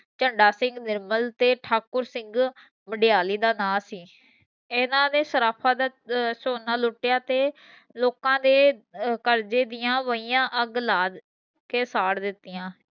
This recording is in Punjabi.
ਝੰਡਾ ਸਿੰਘ ਨਿਰਮਲ ਤੇ ਠਾਕੁਰ ਸਿੰਘ ਵਡਾਇਲੀ ਦਾ ਨਾਂ ਸੀ ਇਹਨਾਂ ਨੇ ਸਰਾਫ਼ਾ ਦਾ ਸੋਨਾ ਲੁਟਿਆ ਤੇ ਲੋਕਾਂ ਦੇ ਅਹ ਕਰਜੇ ਦੀਆਂ ਵਹੀਆਂ ਅਗ ਲਾ ਕੇ ਸਾੜ ਦਿਤੀਆਂ